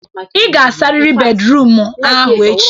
Ị ga-asarịrị bédrụum ahụ echi!